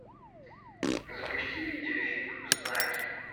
запусти видеофильм знаки